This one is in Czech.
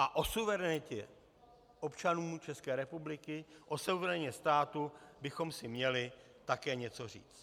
A o suverenitě občanů České republiky, o suverenitě státu bychom si měli také něco říct.